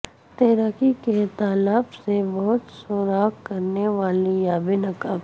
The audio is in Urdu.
تیراکی کے تالاب سے بہت سوراخ کرنے والی یا بے نقاب